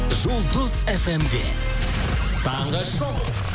жұлдыз фм де таңғы шоу